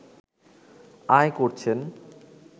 আয় করছেন